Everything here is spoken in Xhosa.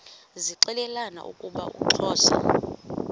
zixelelana ukuba uxhosa